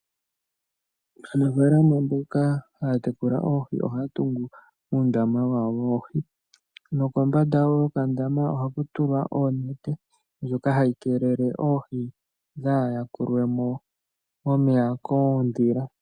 Aanafaalama mboka haya tekula oohi ohaya tungu uundama wawo woohi, nokombanda yokandama ohaku tulwa onete, ndyoka hayi keelele oohi opo dhaayakulwe mo momeya koondhila.